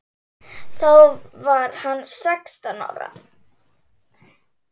Þá var hann sextán ára.